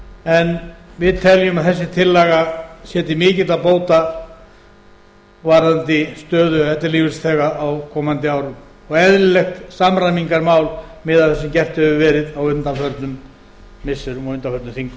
en við teljum að þessi tillaga sé til mikilla bóta varðandi stöðu ellilífeyrisþega á komandi árum og eðlilegt samræmingarmál miðað við það sem gert hefur verið á undanförnum missirum